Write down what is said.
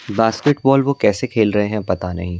basket ball वो कैसे खेल रहे हैं पता नहीं--